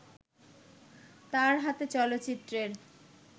তার হাতে চলচ্চিত্রের